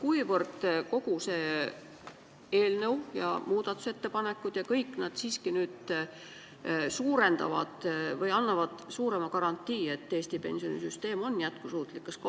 Mil määral kogu see tulevane seadus, kui need muudatusettepanekud läbi lähevad, siiski tugevdab garantiid, et Eesti pensionisüsteem on jätkusuutlik?